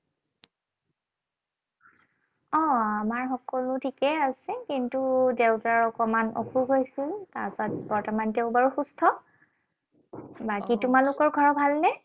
অ, আমাৰ সকলো ঠিকেই আছে। কিন্তু দেউতাৰ অকণমান অসুখ হৈছিল। তাৰপাছত বৰ্তমান তেওঁ বাৰু সুস্থ। বাকী তোমালোকৰ ঘৰৰ ভালনে?